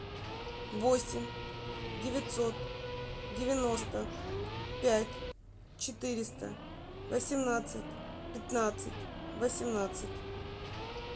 восемь девятьсот девяносто пять четыреста восемнадцать пятнадцать восемнадцать